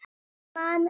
Man ekki.